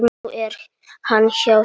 Nú er hann hjá þér.